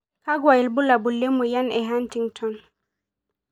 Kakwa ibulabul lemoyian e Huntington